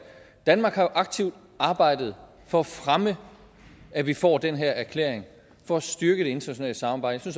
danmark aktivt har arbejdet for at fremme at vi får den her erklæring for at styrke det internationale samarbejde